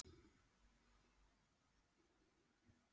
Jæja, á ég að sjá um spurningarnar?